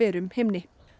berum himni